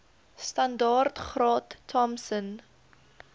standaard graad thompson